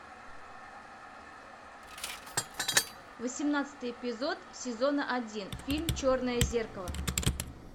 восемнадцатый эпизод сезона один фильм черное зеркало